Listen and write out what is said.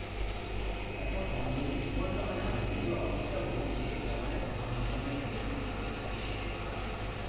এত কম বলতে কি বলতো? মানে আমাদের যে office টা হয়েছে এটা মানে প্রথম প্রথমই আর কি শুরু করেছে বেশিদিন হয়নি আমাদের office টা